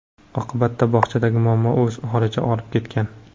Oqibatda bog‘chadagi muammolar o‘z holicha qolib ketgan.